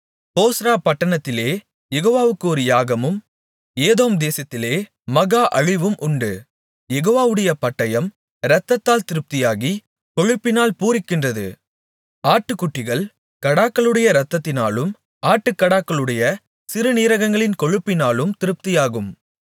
போஸ்றா பட்டணத்திலே யெகோவாவுக்கு ஒரு யாகமும் ஏதோம் தேசத்திலே மகா அழிவும் உண்டு யெகோவாவுடைய பட்டயம் இரத்தத்தால் திருப்தியாகி கொழுப்பினால் பூரிக்கின்றது ஆட்டுக்குட்டிகள் கடாக்களுடைய இரத்தத்தினாலும் ஆட்டுக்கடாக்களுடைய சிறுநீரகங்களின் கொழுப்பினாலும் திருப்தியாகும்